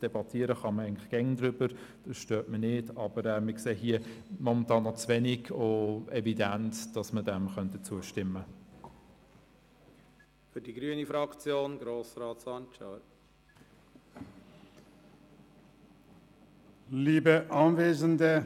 Darüber debattieren kann man immer, das stört mich nicht, aber momentan sehen wir hier noch zu wenig Evidenz, als dass wir dem zustimmen könnten.